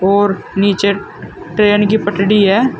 और नीचे ट्रेन की पटरी है।